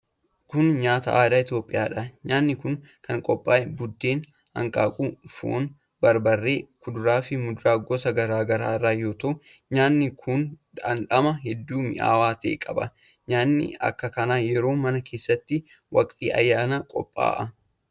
Kun nyaata aadaa Itoophiyaa dha. Nyaanni kun kan qophaa'e:buddeena, hanqaaquu, foon ,barbarree ,kuduraa fi muduraa gosa garaa garaa irraa yoo ta'u, nyaanni kun dhandhama hedduu mi'aawaa ta'e qaba. Nyaanni akka kanaa yeroo mana keessatti waqtii ayyaanaa qopha'a.